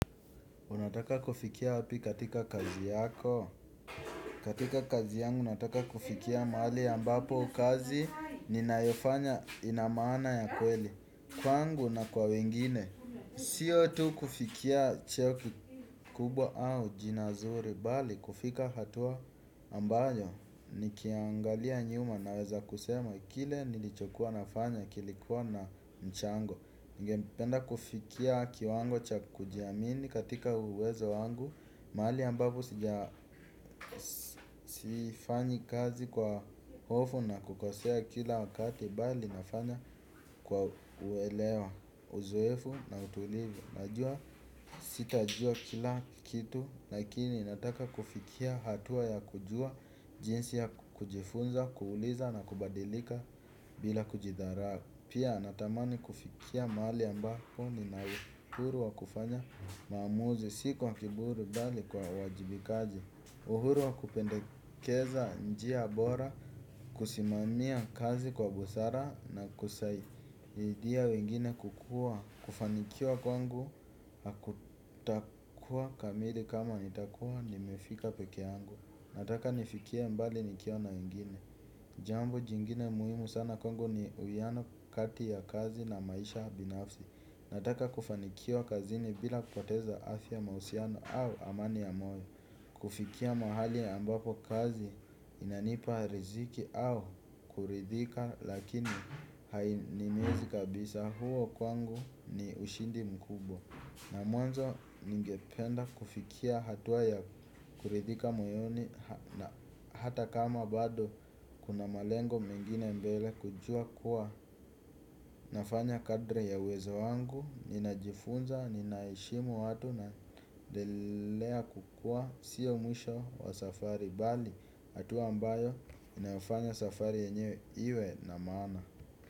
Unataka kufikia wapi katika kazi yako? Katika kazi yangu nataka kufikia mahali ambapo kazi ninayofanya ina maana ya kweli kwangu na kwa wengine. Sio tu kufikia cheo kikubwa au jina zuri, bali kufika hatua ambayo nikiangalia nyuma naweza kusema kile nilichokuwa nafanya kilikuwa na mchango. Ningependa kufikia kiwango cha kujiamini katika uwezo wangu. Mahali ambavyo sija sifanyi kazi kwa hofu na kukosea kila wakati, bali nafanya kwa uelewa, uzoefu na utulivu. Najua sitajua kila kitu lakini nataka kufikia hatua ya kujua jinsi ya kujifunza, kuuliza na kubadilika bila kujidharau. Pia natamani kufikia mahali ambapo nina uhuru wa kufanya maamuzi, si kwa kiburi bali kwa uwajibikaji. Uhuru wa kupendekeza njia bora, kusimamia kazi kwa busara na kusaidia wengine kukua. Kufanikiwa kwangu hakutakuwa kamili kama nitakua nimefika peke yangu. Nataka nifikie mbali nikiwa na wengine. Jambo jingine muhimu sana kwangu ni uwiano kati ya kazi na maisha binafsi. Nataka kufanikiwa kazini bila kukoteza afya, mahusiano au amani ya moyo. Kufikia mahali ya ambapo kazi inanipa riziki au kuridhika lakini hainiumizi kabisa. Huo kwangu ni ushindi mkubwa. Na mwanzo ningependa kufikia hatua ya kuridhika moyoni hata kama bado kuna malengo mengine mbele, kujua kuwa nafanya kadiri ya uwezo wangu, ninajifunza, ninaheshimu watu, naendelea kukua, sio mwisho wa safari bali hatua ambayo inafanya safari yenyewe iwe na maana.